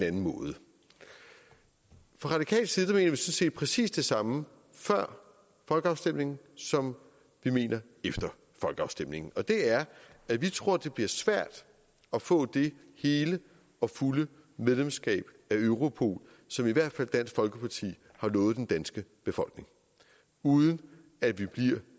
anden måde fra radikal side mente set præcis det samme før folkeafstemningen som vi mener efter folkeafstemningen og det er at vi tror det bliver svært at få det hele og fulde medlemskab af europol som i hvert fald dansk folkeparti har lovet den danske befolkning uden at vi bliver